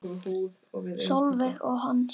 Sólveig og Hans.